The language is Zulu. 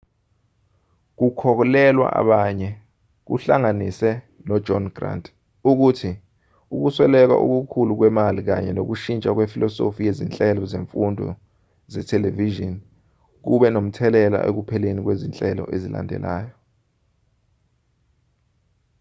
kukholelwa abanye kuhlanganise nojohn grant ukuthi ukusweleka okukhulu kwemali kanye nokushintsha kwefilosofi yezinhlelo zemfundo zethelevishini kube nomthelela ekupheleni kwezinhlelo ezilandelanayo